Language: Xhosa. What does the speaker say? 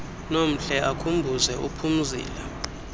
nomhle akhumbuze uphumzile